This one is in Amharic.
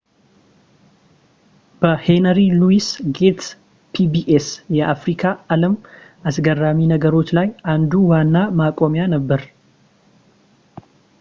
በሄነሪ ሉዊስ ጌትስ ፒቢኤስ የአፍሪካ አለም አስገራሚ ነገሮች ላይ አንዱ ዋና ማቆሚያ ነበር